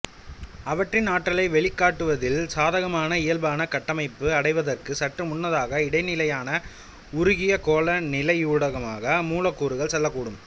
அவற்றின் ஆற்றலை வெளிக்காட்டுவதில் சாதகமான இயல்பான கட்டமைப்பை அடைவதற்குச் சற்று முன்னதாக இடைநிலையான உருகிய கோள நிலையூடாக மூலக்கூறுகள் செல்லக்கூடும்